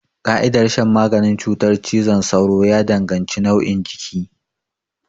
Ƙa'idar shan maganin cutar cizon sauro ya danganci nauyin jiki.